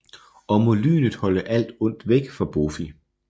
Og må lynet holde alt ondt væk fra Bófi